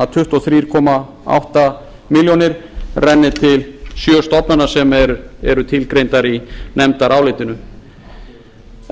að tuttugu og þrjú komma átta milljónir renni til sjö stofnana sem eru tilgreindar í nefndarálitinu